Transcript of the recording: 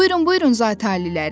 Buyurun, buyurun, Zati Aliləri!